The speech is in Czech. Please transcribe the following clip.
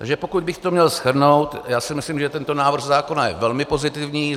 Takže pokud bych to měl shrnout, já si myslím, že tento návrh zákona je velmi pozitivní.